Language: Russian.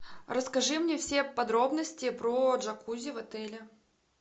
расскажи мне все подробности про джакузи в отеле